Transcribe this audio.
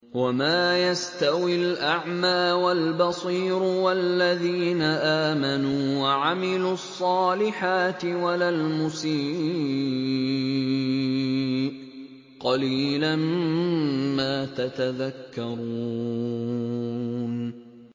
وَمَا يَسْتَوِي الْأَعْمَىٰ وَالْبَصِيرُ وَالَّذِينَ آمَنُوا وَعَمِلُوا الصَّالِحَاتِ وَلَا الْمُسِيءُ ۚ قَلِيلًا مَّا تَتَذَكَّرُونَ